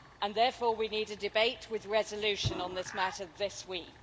Therefore, we need a debate with resolution on this matter this week.